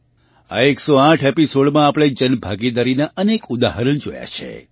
આ 108 એપિસૉડમાં આપણે જનભાગીદારીનાં અનેક ઉદાહરણ જોયાં છે